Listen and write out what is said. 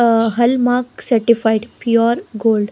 Ah hallmark certified pure gold.